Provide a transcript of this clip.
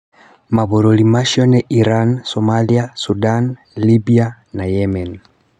Mabũrũri macio ni Iran, Somalia, Sudan, Libya na Yemen Bw.